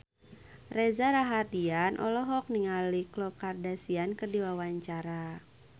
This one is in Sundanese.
Reza Rahardian olohok ningali Khloe Kardashian keur diwawancara